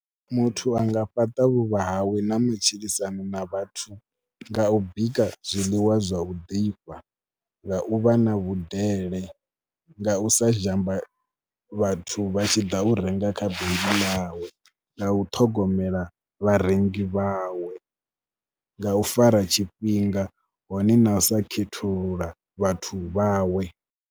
Muthu a nga fhaṱa vhuvha hawe na matshilisano na vhathu nga u bika zwiḽiwa zwa u ḓifha, nga u vha na vhudele, nga u sa zhamba vha vhathu vha tshi ḓa u renga kha bindi ḽawe, nga u ṱhogomela vharengi vhawe, nga u fara tshifhinga hone na sa khethulula vhathu vhawe.